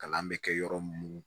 Kalan bɛ kɛ yɔrɔ minnu